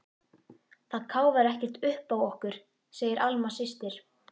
Það káfar ekkert uppá okkur, segir Alma systir.